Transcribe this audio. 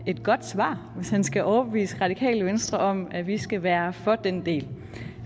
et godt svar hvis han skal overbevise radikale venstre om at vi skal være for den del